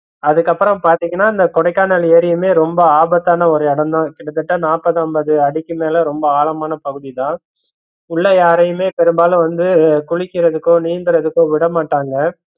அதுக்கப்பறம் பாத்தீங்கன்னா இந்த கொடைக்கானல் எரியுமே ரொம்ப ஆபத்தான ஒரு இடம்தா கிட்ட தட்ட நாப்பது, அம்பது அடிக்குமேல ரொம்ப ஆழமான பகுதிதா உள்ள யாரையுமே பெரும்பாலு வந்து குளிகறதுக்கோ, நீந்தரதுக்கோ விடமாட்டங்க.